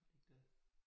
Har de ikke det?